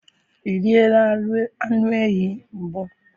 i riela anụ ehi mbụ?